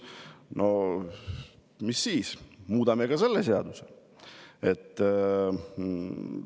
No mis siis, muudame ka seda seadust!